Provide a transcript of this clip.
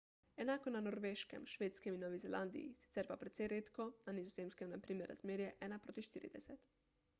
enako je na norveškem švedskem in novi zelandiji sicer pa precej redko na nizozemskem je na primer razmerje ena proti štirideset